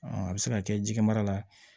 a bɛ se ka kɛ jikɛmara la